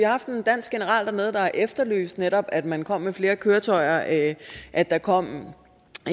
haft en dansk general dernede der har efterlyst at man netop kommer med flere køretøjer at at der kommer